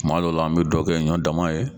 Kuma dɔw la an be dɔ kɛ ɲɔ dama ye